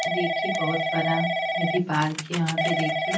देखिए बहुत बड़ा ये भी पार्क है यहाँ पे देखिए--